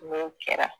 N'o kɛra